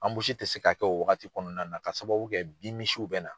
Anbusi tɛ se ka kɛ o wagati kɔnɔna ka sababu kɛ bin misiw bɛ na.